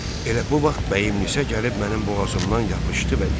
Elə bu vaxt bəyimlinsə gəlib mənim boğazımdan yapışdı və dedi: